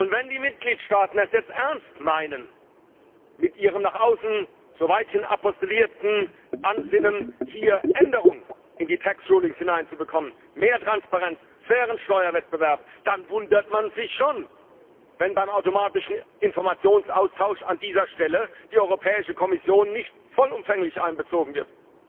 Wenn die Mitgliedsstaaten es jetzt ernst meinen mit ihrem nach außen so weithin postulierten Ansinnen, Änderungen in die Tax Rulings hineinzubekommen, mehr Transparenz, fairen Steuerwettbewerb, dann wundert man sich schon, wenn beim automatischen Informationsaustausch an dieser Stelle die Europäische Kommission nicht vollumfänglich einbezogen wird.